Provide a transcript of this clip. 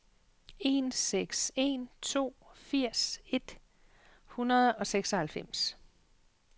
en seks en to firs et hundrede og seksoghalvfems